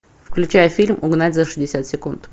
включай фильм угнать за шестьдесят секунд